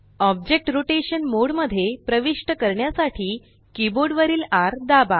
object rotation mode मध्ये प्रविष्ट करण्यासाठी कीबोर्ड वरील र दाबा